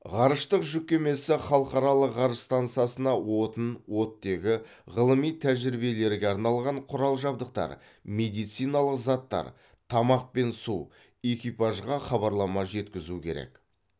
ғарыштық жүк кемесі халықаралық ғарыш стансасына отын оттегі ғылыми тәжірибелерге арналған құрал жабдықтар медициналық заттар тамақ пен су экипажға хабарлама жеткізу керек